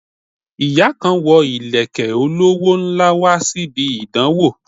Ìyá kan wo ìlẹ̀kẹ̀ olówó ńlá wá síbi ìdánwó